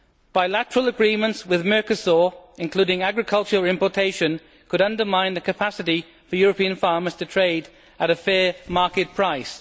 Bilateral agreements with Mercosur, including agriculture re importation, could undermine the capacity for European farmers to trade at a fair market price.